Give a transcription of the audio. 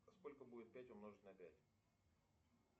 сколько будет пять умножить на пять